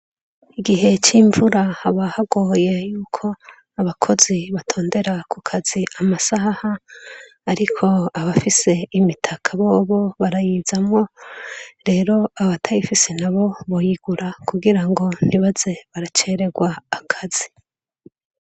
Igihe c'imvura abahagoye yuko abakozi batondera ku kazi amasaha, ariko abafise imitaka bobo barayizamwo rero abatayifise na bo boyigura kugira ngo ntibaze baracererwa akazi.